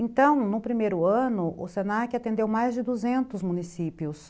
Então, no primeiro ano, o se na que atendeu mais de duzentos municípios.